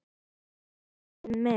Heyrðu Aggi minn.